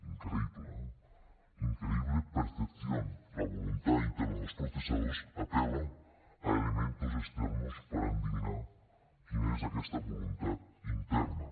increïble eh imposible percepción la voluntad interna de los procesados apela a elementos externos per endevinar quina és aquesta voluntat interna